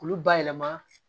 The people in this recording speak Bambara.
K'olu bayɛlɛma